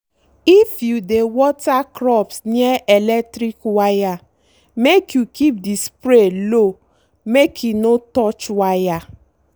if you dey water crops near electric wire make you keep the spray low make e no touch wire.